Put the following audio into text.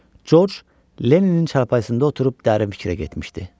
Corc Lenninin çarpayısında oturub dərin fikrə getmişdi.